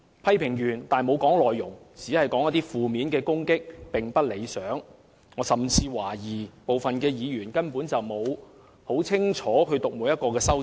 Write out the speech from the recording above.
空泛的批評和負面的攻擊，並不理想。我甚至懷疑部分議員根本沒有清楚閱讀每一項修正案。